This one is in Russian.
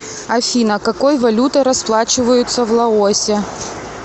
афина какой валютой расплачиваются в лаосе